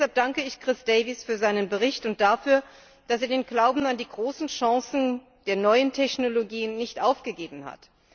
Deshalb danke ich Chris Davies für seinen Bericht und dafür, dass er den Glauben an die großen Chancen der neuen Technologien nicht aufgegeben hat.